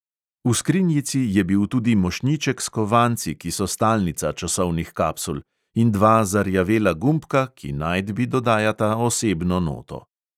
V skrinjici je bil tudi mošnjiček s kovanci, ki so stalnica časovnih kapsul, in dva zarjavela gumbka, ki najdbi dodajata osebno noto.